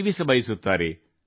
ಜೀವಿಸಬಯಸುತ್ತಾರೆ